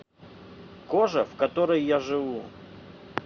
кожа в которой я живу